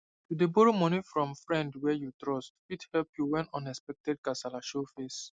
to dey borrow money from friend wey you trust fit help you when unexpected kasala show face